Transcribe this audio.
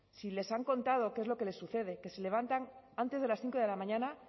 si les han contado qué es lo que les sucede que se levantan antes de las cinco de la mañana